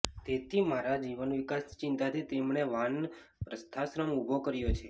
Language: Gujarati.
તેથી મારા જીવનવિકાસની ચિંતાથી તેમણે વાનપ્રસ્થાશ્રમ ઊભો કર્યો છે